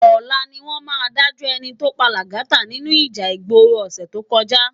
Òlá niwòn má dájò èní tó pá Lagata ninú íjà igbóró òsè tókòjá